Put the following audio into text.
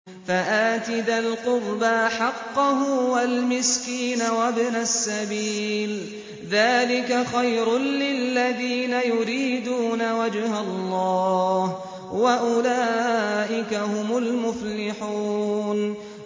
فَآتِ ذَا الْقُرْبَىٰ حَقَّهُ وَالْمِسْكِينَ وَابْنَ السَّبِيلِ ۚ ذَٰلِكَ خَيْرٌ لِّلَّذِينَ يُرِيدُونَ وَجْهَ اللَّهِ ۖ وَأُولَٰئِكَ هُمُ الْمُفْلِحُونَ